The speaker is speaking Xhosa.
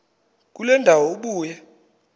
kule ndawo ubuye